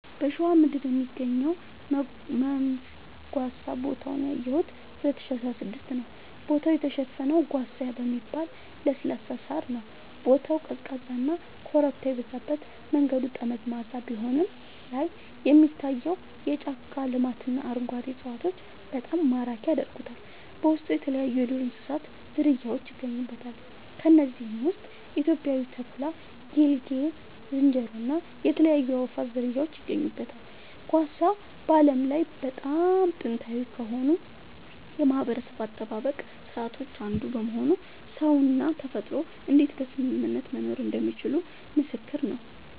በሸዋ ምድር የሚገኘው መንዝ ጓሳ ቦታውን ያየሁት 2016 ነዉ ቦታው የተሸፈነው ጓሳ በሚባል ለስላሳ ሳር ነዉ ቦታው ቀዝቃዛና ኮረብታ የበዛበት መንገዱ ጠመዝማዛ ቢሆንም ላይን የሚታየው የጫካ ልማትና አረንጓዴ እፅዋቶች በጣም ማራኪ ያደርጉታል በውስጡ የተለያይዩ የዱር እንስሳት ዝርያውች ይገኙበታል ከነዚህም ውስጥ ኢትዮጵያዊው ተኩላ ጌልጌ ዝንጀሮ እና የተለያዩ የአእዋፋት ዝርያወች ይገኙበታል። ጓሳ በዓለም ላይ በጣም ጥንታዊ ከሆኑ የማህበረሰብ አጠባበቅ ስርዓቶች አንዱ በመሆኑ ሰውና ተፈጥሮ እንዴት በስምምነት መኖር እንደሚችሉ ምስክር ነዉ